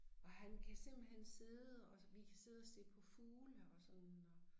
Og han kan simpelthen sidde og vi kan sidde og se på fugle og sådan og